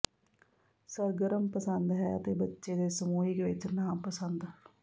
ਸਰਗਰਮ ਪਸੰਦ ਹੈ ਅਤੇ ਬੱਚੇ ਦੇ ਸਮੂਹਿਕ ਵਿਚ ਨਾਪਸੰਦ